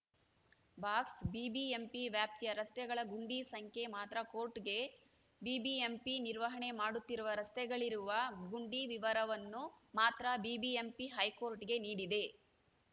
ಬಾಕ್ಸ್‌ಬಿಬಿಎಂಪಿ ವ್ಯಾಪ್ತಿಯ ರಸ್ತೆಗಳ ಗುಂಡಿ ಸಂಖ್ಯೆ ಮಾತ್ರ ಕೋರ್ಟ್‌ಗೆ ಬಿಬಿಎಂಪಿ ನಿರ್ವಹಣೆ ಮಾಡುತ್ತಿರುವ ರಸ್ತೆಗಳಲ್ಲಿರುವ ಗುಂಡಿ ವಿವರನ್ನು ಮಾತ್ರ ಬಿಬಿಎಂಪಿ ಹೈಕೋಟ್‌ಗೆ ನೀಡಿದೆ